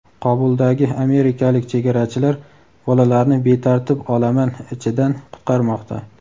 Qobuldagi amerikalik "chegarachilar" bolalarni betartib olaman ichidan qutqarmoqda.